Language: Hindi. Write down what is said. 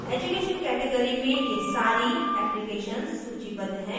education category में ये सारी applications सूचीबद्ध हैं